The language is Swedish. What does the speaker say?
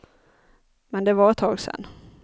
Men det var ett tag sen.